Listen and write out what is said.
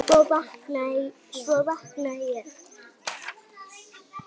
Svo vaknaði ég.